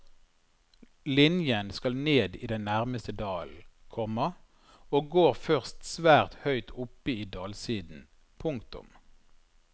Linjen skal ned i den nærmeste dalen, komma og går først svært høyt oppe i dalsiden. punktum